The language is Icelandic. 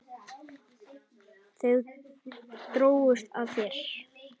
Þau drógust að þér.